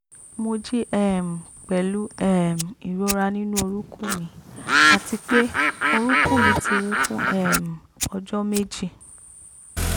mo jí um pẹ̀lú um ìrora nínú orúnkún mi àti pé orúnkún mi ti wú fún um ọjọ́ méjì